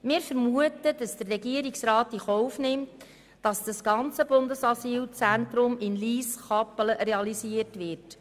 Wir vermuten, der Regierungsrat nehme in Kauf, dass das gesamte Bundesasylzentrum in Lyss/Kappelen realisiert wird.